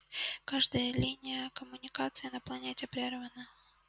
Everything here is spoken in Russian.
каждая линия коммуникации на планете прервана